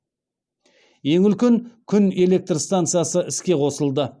ең үлкен күн электр станциясы іске қосылды